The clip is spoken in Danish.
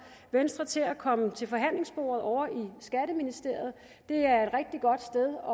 venstre til at komme til forhandlingsbordet ovre i skatteministeriet det er et rigtig godt sted